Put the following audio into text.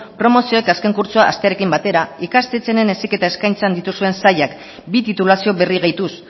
promozioek azken kurtsoa hastearekin batera ikastetxearen heziketa eskaintzan dituzuen sailak bi titulazio berri gehituz